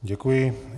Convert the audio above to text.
Děkuji.